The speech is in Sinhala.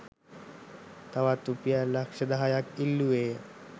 තවත් රුපියල් ලක්‍ෂ දහයක්‌ ඉල්ලුවේය.